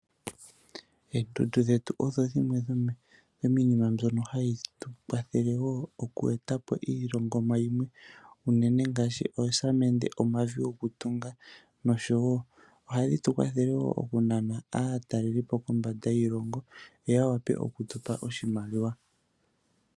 Oondundu ohadhi tukwathela opo tweetepo iihongomwa yimwe unene ngashi oosamende, omavi gokutunga nosho woo ohadhi tukwathele woo okunana aataleli kondje yoshilongo yeye yetupe iimaliwa.